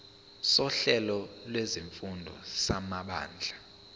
sohlelo lwezifundo samabanga